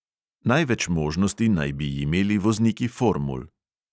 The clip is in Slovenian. Največ možnosti naj bi imeli vozniki formul.